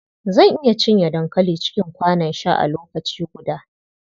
Zan iya cinye dankali cikin kwanon sha a lokaci guda.